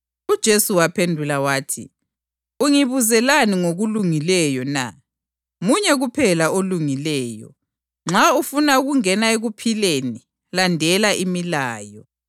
UJesu waphendula wathi, “Ungibuzelani ngokulungileyo na? Munye kuphela olungileyo. Nxa ufuna ukungena ekuphileni, landela imilayo.”